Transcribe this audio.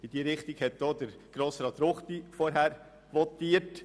In diese Richtung hat auch Grossrat Ruchti vorhin votiert.